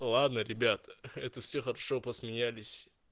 ладно ребята это все хорошо посмеялись